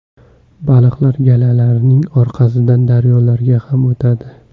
Baliqlar galalarining orqasidan daryolarga ham o‘tadi.